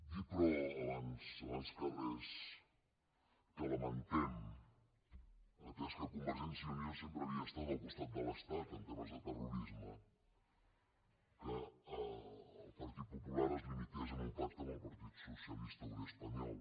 dir però abans de res que lamentem atès que convergència i unió sempre havia estat al costat de l’estat en temes de terrorisme que el partit popular es limités a un pacte amb el partit socialista obrer espanyol